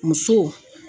Muso